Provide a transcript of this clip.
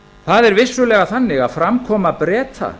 það er vissulega þannig að framkoma breta